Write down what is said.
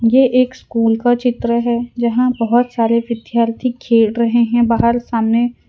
ये एक स्कूल का चित्र है जहां बहोत सारे विद्यार्थी खेल रहे हैं बाहर सामने--